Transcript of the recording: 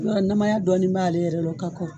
Yɔrɔ namaya dɔɔni b'a le yɛrɛ la ka kɔrɔ.